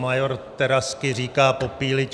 Major Terazky říká: Popíliť!